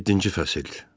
Yeddinci fəsil.